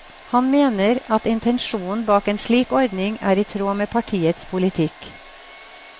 Han mener at intensjonen bak en slik ordning er i tråd med partiets politikk.